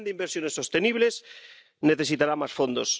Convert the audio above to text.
El plan de inversiones sostenibles necesitará más fondos